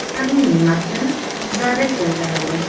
Ularning matni O‘zAda keltirildi .